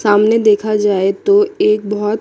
सामने देखा जाए तो एक बहोत--